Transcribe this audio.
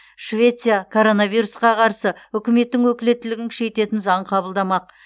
швеция коронавирусқа қарсы үкіметтің өкілеттігін күшейтетін заң қабылдамақ